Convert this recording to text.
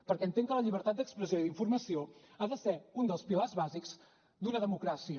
perquè entenc que la llibertat d’expressió i d’informació ha de ser un dels pilars bàsics d’una democràcia